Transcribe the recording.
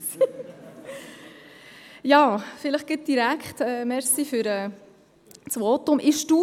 Bitte die Zeit erst stoppen, wenn ich das Pult justiert habe!